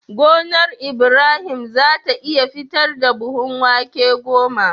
Gonar Ibrahim zata iya fitar da buhun wake goma